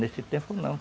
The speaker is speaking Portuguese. Nesse tempo, não.